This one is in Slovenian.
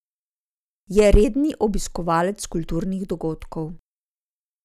Je redni obiskovalec kulturnih dogodkov.